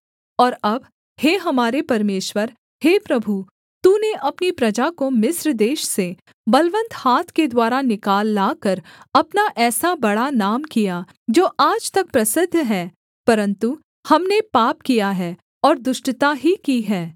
और अब हे हमारे परमेश्वर हे प्रभु तूने अपनी प्रजा को मिस्र देश से बलवन्त हाथ के द्वारा निकाल लाकर अपना ऐसा बड़ा नाम किया जो आज तक प्रसिद्ध है परन्तु हमने पाप किया है और दुष्टता ही की है